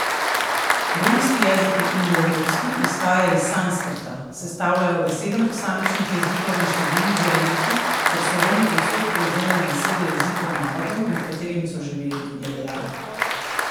Romski jezik je indoevropski, izhaja iz sanskrta, sestavljajo ga sedem posamičnih jezikov in številni dialekti, ker so Romi povsod prevzemali besede jezikov narodov, med katerimi so živeli, je dejal.